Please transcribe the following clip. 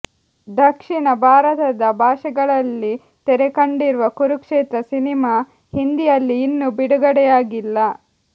ದಕ್ಷಿಣ ಭಾರತದ ಭಾಷೆಗಳಲ್ಲಿ ತೆರೆಕಂಡಿರುವ ಕುರುಕ್ಷೇತ್ರ ಸಿನಿಮಾ ಹಿಂದಿಯಲ್ಲಿ ಇನ್ನು ಬಿಡುಗಡೆಯಾಗಿಲ್ಲ